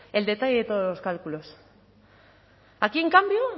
el detalle de todos los cálculos aquí en cambio